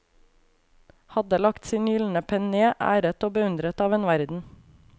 Hadde lagt sin gyldne penn ned, æret og beundret av en verden.